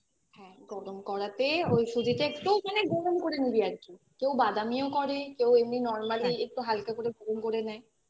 হ্যাঁ গরম করাতে ওই সুজিতে একটু মানে গরম করে নিবি আর কি কেউ বাদামিও করে কেউ এমনি normally একটু হালকা করে গরম করে নেয়